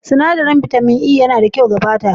Sinadarin bitamin E yana da kyau ga fata.